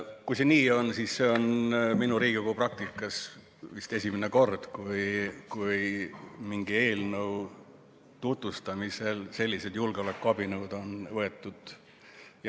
Kui see nii on, siis see on minu Riigikogu praktikas vist esimene kord, kui mingi eelnõu tutvustamisel sellised julgeolekuabinõud on tarvitusele võetud.